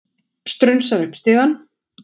Strunsar upp stigann.